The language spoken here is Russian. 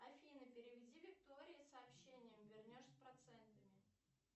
афина переведи виктории сообщение вернешь с процентами